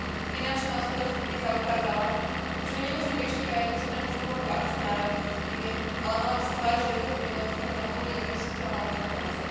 Finančná hospodárska kríza ukázala, že ju nemožno riešiť iba jednostranne z pohľadu akcionárov týchto firiem, ale mala by sa zvážiť aj zodpovednosť, ktorú má podnik ako sociálna organizácia.